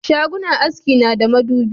Shagunnan haski na da madubi